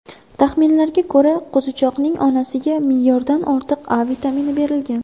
Taxminlarga ko‘ra, qo‘zichoqning onasiga me’yordan ortiq A vitamini berilgan.